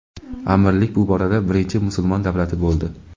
Amirlik bu borada birinchi musulmon davlati bo‘ldi.